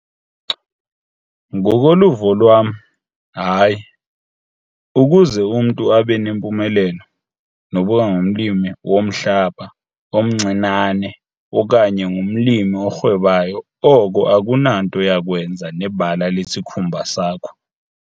Ngokoluvo lwam, HAYI - ukuze umntu abe nempumelelo, nokuba ngumlimi womhlaba omncinane okanye ngumlimi orhwebayo oko akunanto yakwenza nebala lesikhumba sakho.